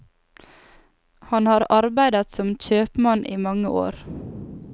Han har arbeidet som kjøpmann i mange år.